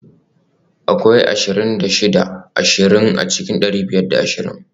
Akwai ashirin da shida ashirin a cikin dari biyar da ashirin